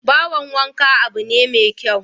Bohon wanka abu ne mai kyau